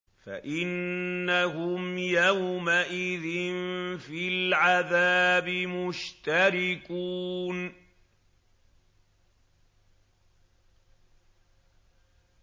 فَإِنَّهُمْ يَوْمَئِذٍ فِي الْعَذَابِ مُشْتَرِكُونَ